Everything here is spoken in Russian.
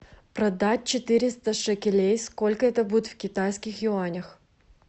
продать четыреста шекелей сколько это будет в китайских юанях